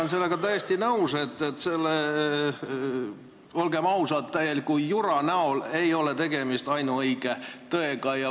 Ma olen täiesti nõus, et see, olgem ausad, täielik jura ei ole ainuõige tõde.